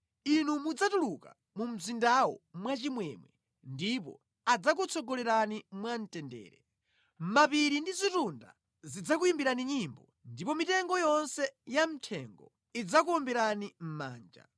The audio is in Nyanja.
Inu mudzatuluka mu mzindawo mwachimwemwe ndipo adzakutsogolerani mwamtendere; mapiri ndi zitunda zidzakuyimbirani nyimbo, ndipo mitengo yonse yamʼthengo idzakuwombereni mʼmanja.